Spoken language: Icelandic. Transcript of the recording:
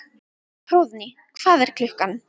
Hróðný, hvað er klukkan?